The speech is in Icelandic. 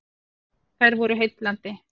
Þær voru heillandi.